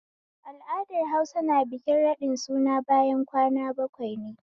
Al'adar Hausa na bikin raɗin suna bayan kwana bakwai ne